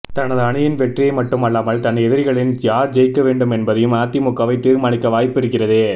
தனது அணியின் வெற்றியை மட்டுமல்லாமல் தன் எதிரிகளில் யார் ஜெயிக்கவேண்டும் என்பதையும் அதிமுகவே தீர்மானிக்க வாய்ப்பு இருக்கிறது